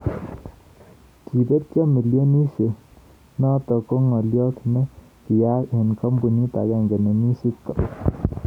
Kebeet millionisyek noto ko ngalyo ne kiyaak eng kambunit agenge nemii Seattle